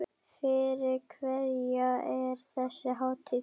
Fyrir hverja er þessi hátíð?